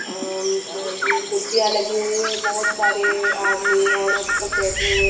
M अ ये कुर्सिया लगी हुई है बोहोत सारे आदमी ओरत सब बेठे हुए --